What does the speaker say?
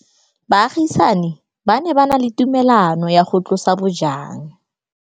Baagisani ba ne ba na le tumalanô ya go tlosa bojang.